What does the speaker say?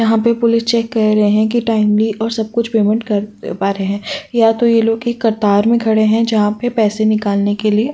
हमें police check कर रहे हैं कि टाइम्ली और सब कुछ पेमेंट करना पा रहे हैं या तो ये लोग कतार में खड़े हैं जहां पर पैसे निकालने के लिए --